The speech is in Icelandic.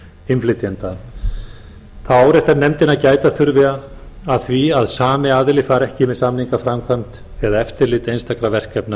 innflytjenda þá áréttar nefndin að gæta þurfi að því að sami aðili fari ekki með samninga framkvæmd eða eftirlit einstakra verkefna